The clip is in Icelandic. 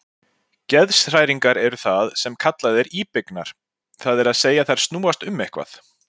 Geðshræringar eru það sem kallað er íbyggnar, það er að segja þær snúast um eitthvað.